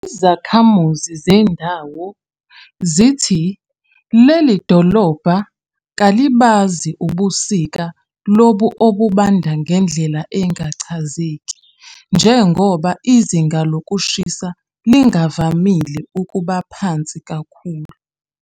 Izakhamuzi zendawo zithi leli dolobha kalibazi ubusika lobu obubanda ngendlela engachazeki, njengoba izinga lokushisa lingavamile ukuba phansi kakhulu.